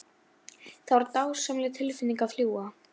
Það var dásamleg tilfinning að fljúga.